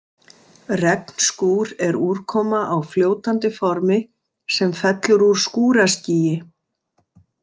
Regnskúr er úrkoma á fljótandi formi, sem fellur úr skúraskýi.